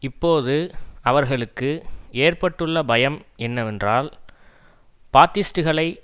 இப்போது அவர்களுக்கு ஏற்பட்டுள்ள பயம் என்னவென்றால் பாத்திஸ்ட்டுகளை